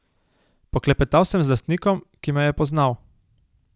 Poklepetal sem z lastnikom, ki me je poznal.